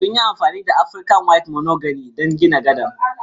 Sun yi amfani da Afrika white mahogany don gina gadar